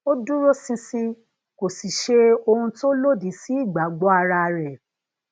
ó dúróṣinṣin kò sì ṣe ohun tó lòdì sí ìgbagbo ara re